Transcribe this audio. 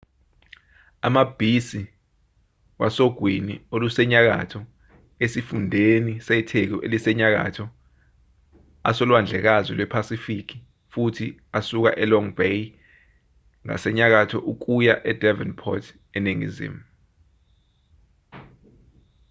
amabhisi wasogwini olusenyakatho esifundeni setheku elisenyakatho asolwandlekazini lwephasifiki futhi asuka e-long bay ngasenyakatho kuya e-devonport eningizimu